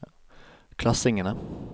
klassingene